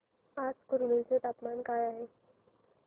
आज कुरनूल चे तापमान काय आहे